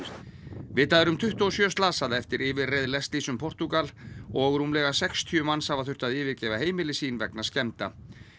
vitað er um tuttugu og sjö slasaða eftir yfirreið Leslies um Portúgal og rúmlega sextíu manns hafa þurft að yfirgefa heimili sín vegna skemmda